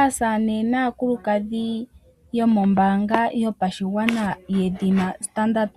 Aasamane naakulukadhi mombaanga yopashigwana yedhina Standard